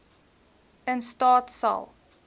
in staat sal